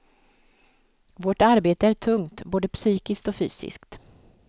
Vårt arbete är tungt, både psykiskt och fysiskt.